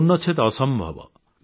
ପୂର୍ଣ୍ଣଚ୍ଛେଦ ଅସମ୍ଭବ